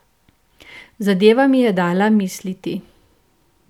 Zadeva mi je dala misliti.